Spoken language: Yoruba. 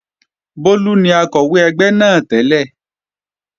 Bólú ni Akọ̀wé ẹgbẹ́ náà tẹ́lẹ̀